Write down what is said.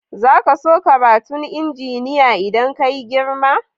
Zaka so karatun injiniya idan ka yi girma?